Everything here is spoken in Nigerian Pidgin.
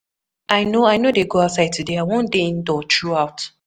I no i no dey go outside today, I wan dey indoor through out.